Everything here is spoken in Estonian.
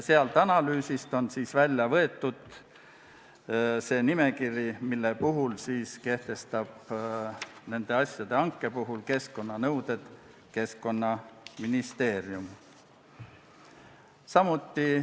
Sellest analüüsist on välja võetud see nimekiri, milliste asjade hanke korral kehtestab Keskkonnaministeerium keskkonnanõuded.